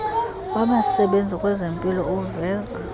wabasebenzi kwezempilo uveza